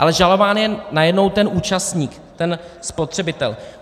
Ale žalován je najednou ten účastník, ten spotřebitel.